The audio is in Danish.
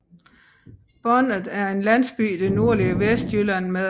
Bonnet er en landsby i det nordlige Vestjylland med